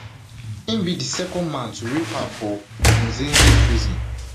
im be di second man to rape her for munzenze prison